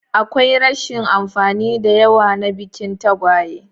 Akwai rashin amfani da yawa na bikin tagwaye.